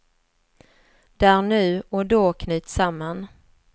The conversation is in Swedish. Där nu och då knyts samman.